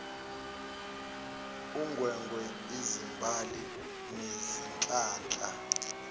ungwengwe izimbali nezihlahla